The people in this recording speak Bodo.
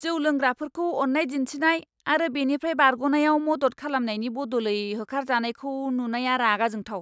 जौ लोंग्राफोरखौ अन्नाय दिन्थिनाय आरो बेनिफ्राय बारग'नायाव मदद खालामनायनि बदलै होखारजानायखौ नुनाया रागा जोंथाव।